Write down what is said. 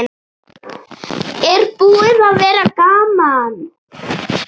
Er búið að vera gaman?